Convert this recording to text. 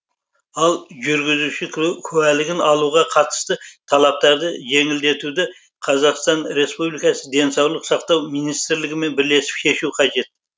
ал жүргізуші куәлігін алуға қатысты талаптарды жеңілдетуді қазақстан республикасы денсаулық сақтау министрлігімен бірлесіп шешу қажет